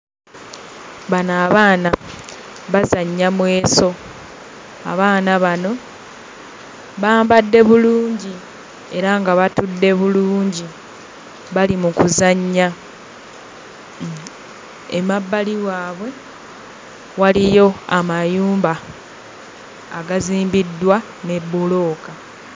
Bano abaana bazannya mweso. Abaana bano bambadde bulungi era nga batudde bulungi, bali mu kuzannya. Emabbali waabwe waliyo amayumba agazimbiddwa ne bbulooka.